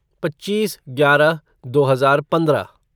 पच्चीस ग्यारह दो हजार पंद्रह